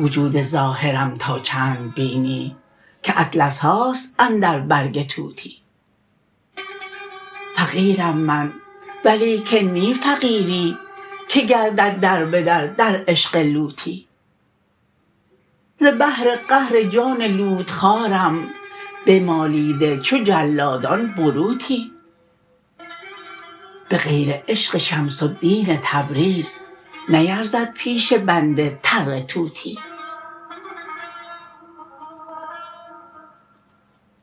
وجود ظاهرم تا چند بینی که اطلس هاست اندر برگ توتی فقیرم من ولیکن نی فقیری که گردد در به در در عشق لوتی ز بهر قهر جان لوت خوارم بمالیده چو جلادان بروتی به غیر عشق شمس الدین تبریز نیرزد پیش بنده تره توتی